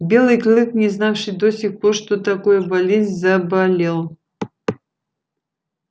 белый клык не знавший до сих пор что такое болезнь заболел